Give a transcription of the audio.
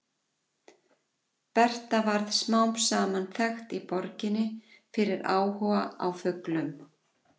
Berta varð smám saman þekkt í borginni fyrir áhuga á fuglum.